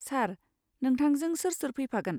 सार, नोंथांजों सोर सोर फैफागोन?